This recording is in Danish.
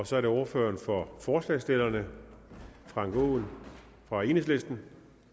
så er det ordføreren for forslagsstillerne frank aaen fra enhedslisten